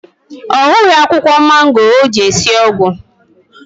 Ọ hughị akwụkwọ mango o ji esi ọgwụ